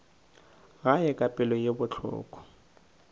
gae ka pelo ye bohloko